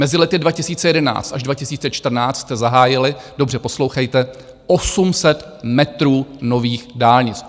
Mezi lety 2011 až 2014 jste zahájili, dobře poslouchejte, 800 metrů nových dálnic.